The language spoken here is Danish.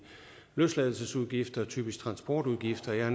løsladelsesudgifter typisk transportudgifter jeg